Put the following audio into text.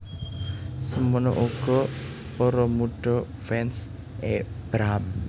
Semono uga para mudha fans é Pram